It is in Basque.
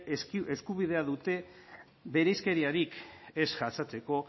eskubidea dute bereizkeriarik ez jasatzeko